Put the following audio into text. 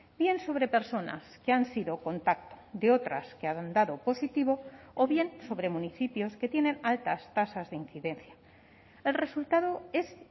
bien sobre personas que han sido contacto de otras que han dado positivo o bien sobre municipios que tienen altas tasas de incidencia el resultado es